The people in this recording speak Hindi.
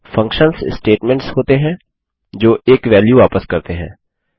फंक्शन्स स्टेटमेंट्स वक्तव्य होते हैं जो एक वेल्यू वापस करते हैं